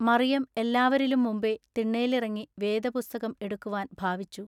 മറിയം എല്ലാവരിലും മുമ്പെ തിണ്ണേലിറങ്ങി വേദപുസ്തകം എടുക്കുവാൻ ഭാവിച്ചു.